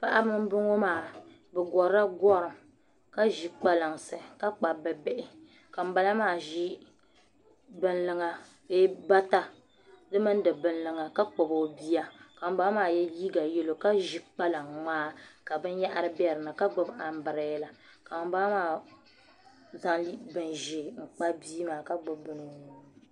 Paɣaba n bɔŋɔ maa bi gorila gorim ka ʒi kpalansi ka kpabi bi bihi ka ŋunbala maa ʒi bata di mini di bin luŋa ka kpabi o bia ka ŋunbala maa yɛ liiga yɛlo ka gbubi kpalaŋ ŋmaa ka binyahari bɛ dinni ka gbubi anbirɛla ka ŋunbala maa zaŋ bini ʒiɛ n kpabi bia maa ka gbubi bini